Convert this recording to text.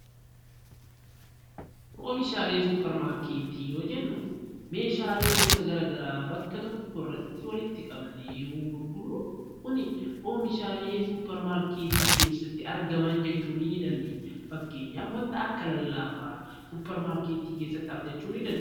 Oomishaalee supermarkeetii yeroo jennuu meeshaalee gosa garaa garaa bakka tokko irratti walitti qabame yoo gurguramu oomishaalee supermarketii keessatti argaman jechuu ni dandeenya. Fakkeenyaaf waan akka lallaafaa achi keessaa argachuu dandeenya.